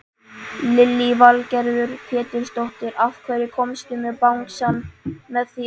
Lillý Valgerður Pétursdóttir: Af hverju komstu með bangsann með þér?